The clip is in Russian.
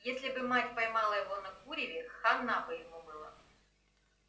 если бы мать поймала его на куреве хана бы ему была